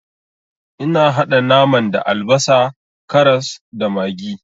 Ina haɗa naman da albasa, karas, da maggi.